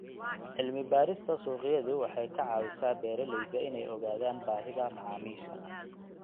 Cilmi-baarista suuqyadu waxay ka caawisaa beeralayda inay ogaadaan baahida macaamiisha.